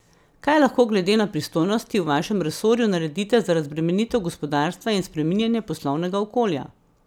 Kaj lahko glede na pristojnosti v vašem resorju naredite za razbremenitev gospodarstva in spreminjanje poslovnega okolja?